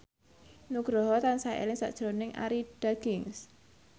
Nugroho tansah eling sakjroning Arie Daginks